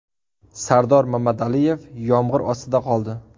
Sardor Mamadaliyev yomg‘ir ostida qoldi.